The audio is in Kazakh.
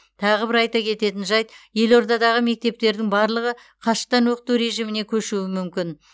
тағы бір айта кететін жайт елордадағы мектептердің барлығы қашықтан оқыту режиміне көшуі мүмкін